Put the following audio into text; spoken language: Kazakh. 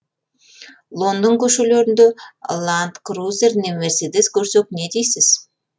лондон көшелерінде ланд крузер не мерседес көрсек не дейсіз